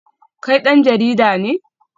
Kai dan jarida ne?